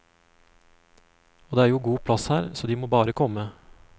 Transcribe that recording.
Og det er jo god plass her, så de må bare komme.